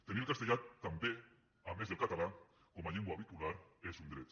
tenir el castellà també a més del català com a llengua vehicular és un dret